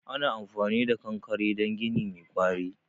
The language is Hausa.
Ana amfani da kankare don gini mai ƙwari.